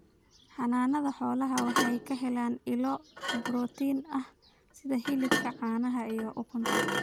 Xanaanada xoolaha waxa ay ka helaan ilo borotiin ah sida hilibka, caanaha, iyo ukunta.